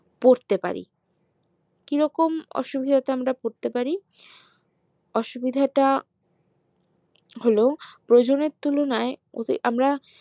পড়তে পারি কিরকম অসুবিধাতে আমরা পড়তে পারি অসুবিধাটা হলো প্রয়োজনের তুলনায়